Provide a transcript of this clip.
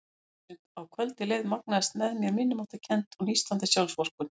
Eftir því sem á kvöldið leið magnaðist með mér minnimáttarkennd og nístandi sjálfsvorkunn.